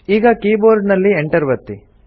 ಈಗ keyboard ನಲ್ಲಿ enter ಒತ್ತಿ